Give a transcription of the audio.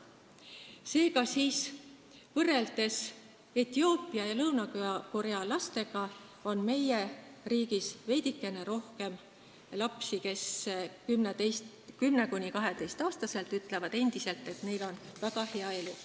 Seega, võrreldes Etioopia ja Lõuna-Korea lastega on meie riigis veidikene rohkem lapsi, kes 10–12-aastaselt ütlevad, et neil on väga hea elu.